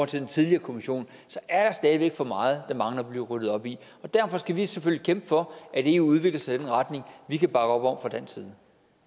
til den tidligere kommission er der stadig væk for meget der mangler at blive ryddet op i derfor skal vi selvfølgelig kæmpe for at eu udvikler sig i den retning vi kan bakke op om fra dansk side